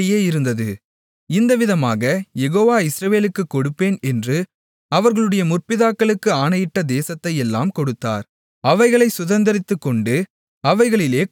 இந்தவிதமாகக் Jehovah இஸ்ரவேலுக்குக் கொடுப்பேன் என்று அவர்களுடைய முற்பிதாக்களுக்கு ஆணையிட்ட தேசத்தையெல்லாம் கொடுத்தார் அவர்கள் அவைகளைச் சுதந்தரித்துக்கொண்டு அவைகளிலே குடியிருந்தார்கள்